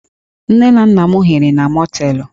Nne na nna m hiri na mọteelụ